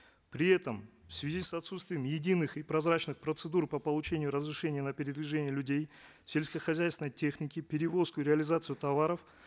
при этом в связи с отсутствием единых и прозрачных процедур по получению разрешения на передвижение людей сельскохозяйственной техники перевозку реализацию товаров